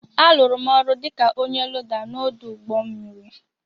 A lụrụ m ọrụ dịka ọnye loda n'odu ụgbọ mmiri